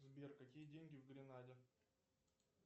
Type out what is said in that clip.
сбер какие деньги в гренаде